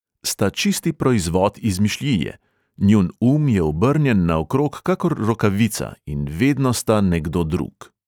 Sta čisti proizvod izmišljije, njun um je obrnjen naokrog kakor rokavica in vedno sta nekdo drug.